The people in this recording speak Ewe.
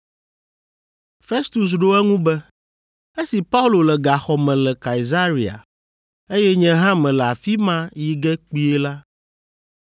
Festus ɖo eŋu be, “Esi Paulo le gaxɔ me le Kaesarea, eye nye hã mele afi ma yi ge kpuie la,